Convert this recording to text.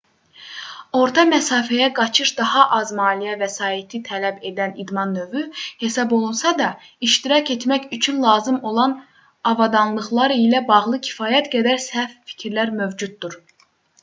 orta məsafəyə qaçış daha az maliyyə vəsaiti tələb edən idman növü hesab olunsa da iştirak etmək üçün lazım olan avadanlıqlar ilə bağlı kifayət qədər səhv fikirlər mövcuddur